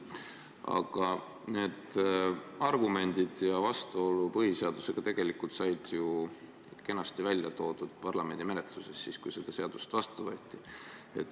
Aga need argumendid ja vastuolu põhiseadusega said ju kenasti välja toodud parlamendi menetluses, kui seda seadust vastu võeti.